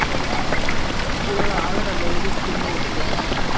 Skoða aðrar leiðir til niðurskurðar